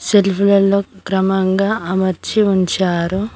Self లలో క్రమంగా అమర్చి ఉంచారు.